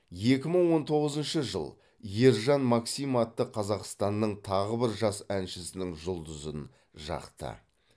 екі мың он тоғызыншы жыл ержан максим атты қазақстанның тағы бір жас әншісінің жұлдызын жақты